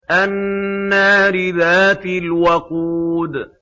النَّارِ ذَاتِ الْوَقُودِ